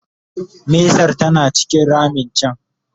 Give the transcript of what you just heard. mesar tana cikin ramin can